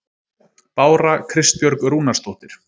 Bára Kristbjörg Rúnarsdóttir